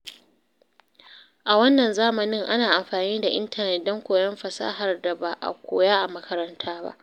A wannan zamanin, ana amfani da intanet don koyon fasahar da ba a koya a makaranta.